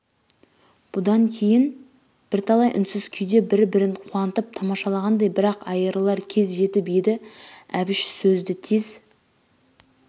бұдан кейін бірталай үнсіз күйде бір-бірін қуанып тамашалағандай бірақ айырылар кез жетіп еді әбіш сөзді тез